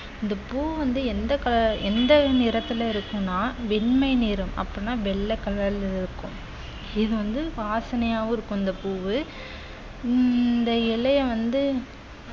இந்த பூ வந்து எந்த colou~ எந்த நிறத்துல இருக்குன்னா வெண்மை நிறம் அப்பன்னா வெள்ளை colour ல இருக்கும் இது வந்து வாசனையாவும் இருக்கும் இந்த பூவு உம் இந்த இலையை வந்து